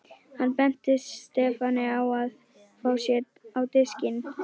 Hann benti Stefáni á að fá sér á diskinn.